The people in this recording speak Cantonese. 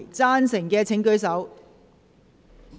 贊成的請舉手。